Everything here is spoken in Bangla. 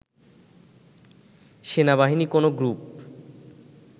সেনাবাহিনী কোনো গ্রুপ